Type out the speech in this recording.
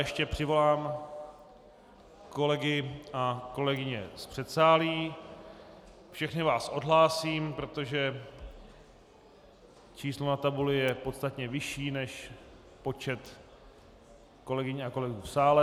Ještě přivolám kolegy a kolegyně z předsálí, všechny vás odhlásím, protože číslo na tabuli je podstatně vyšší než počet kolegyň a kolegů v sále.